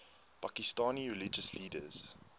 pakistani religious leaders